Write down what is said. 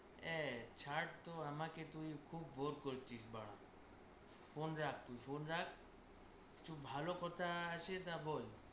এ ছাড়ত আমাকে তুই খুব bore করছিস বাড়া। Phone রাখ তুই phone রাখ। কিছু ভালো কথা আসে তা তুই বল।